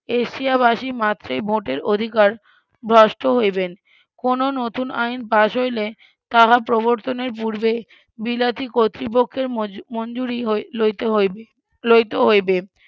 এশিয়াবাসী মাত্রেই ভোটের অধিকার ভ্রষ্ট হইবেন কোনো নতুন আইন পাস হইলে তাহা প্রবর্তনের পূর্বে বিলাতি কতৃপক্ষের মঞ্জু~ মঞ্জুরি লইতে হইবে লইতে হইবে